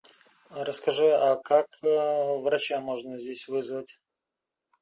расскажи а как врача можно здесь вызвать